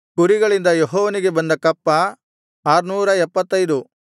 ಕುರಿಗಳಿಂದ ಯೆಹೋವನಿಗೆ ಬಂದ ಕಪ್ಪ 675